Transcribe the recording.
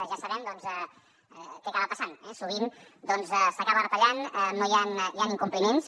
ja sabem què acaba passant sovint s’acaba retallant hi han incompliments